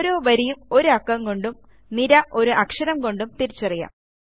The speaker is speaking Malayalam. ഓരോ വരിയും ഒരു അക്കം കൊണ്ടും നിര ഒരു അക്ഷരം കൊണ്ടും തിരിച്ചറിയാം